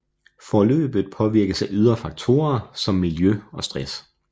Forløbet påvirkes af ydre faktorer som miljø og stress